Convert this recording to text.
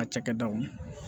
A cakɛdaw